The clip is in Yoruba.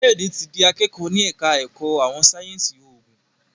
Kayode tí dì akẹkọ ní ẹka ẹkọ àwọn sáyẹnsì oògùn.